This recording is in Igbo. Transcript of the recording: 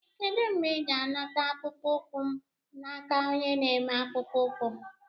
Kedu mgbe ị ga-anata akpụkpọ ụkwụ m n'aka onye na-eme akpụkpọ ụkwụ?